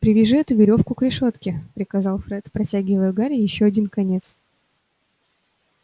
привяжи эту верёвку к решётке приказал фред протягивая гарри один её конец